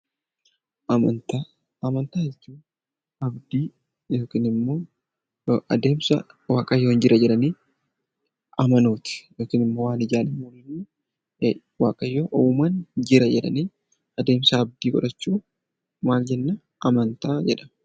Amantaa: Amantaa jechuun abdii yookaan immoo adeemsa waaqayyo jira jedhanii amanuuti yookaan immoo waan ijaan hin mul'anne waaqayyo uumaan jira jedhanii adeemsa abdii godhachuu maal jenna? Amantaa jedhama.